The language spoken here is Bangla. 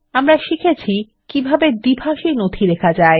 আমরা শিখেছি কিভাবে একটি দ্বিভাষী নথি লেখা যায়